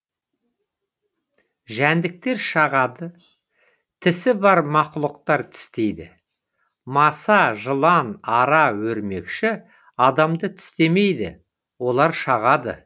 жәндіктер шағады тісі бар мақұлықтар тістейді маса жылан ара өрмекші адамды тістемейді олар шағады